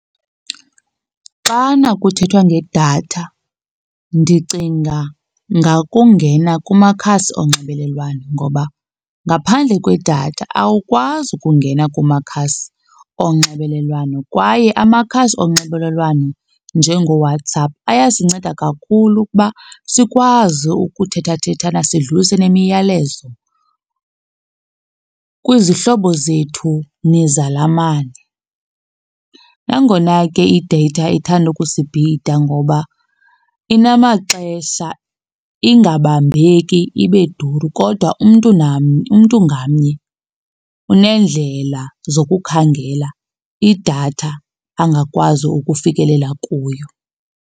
Xana kuthethwa ngedatha ndicinga ngakungena kumakhasi onxibelelwano ngoba ngaphandle kwedatha awukwazi ukungena kumakhasi onxibelelwano kwaye amakhasi onxibelelwano njengoWhatsApp ayasinceda kakhulu ukuba sikwazi ukuthethathethana, sidlulise nemiyalezo kwizihlobo zethu nezalamane. Nangona ke i-data ithanda ukusibhida ngoba inamaxesha ingabambeki, ibe duru kodwa umntu umntu ngamnye unendlela zokukhangela idatha angakwazi ukufikelela kuyo.